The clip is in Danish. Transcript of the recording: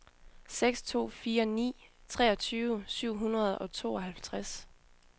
seks to fire ni treogtyve syv hundrede og tooghalvtreds